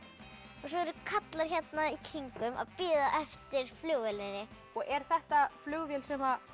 og svo eru karlar hérna í kring að bíða eftir flugvélinni er þetta flugvél sem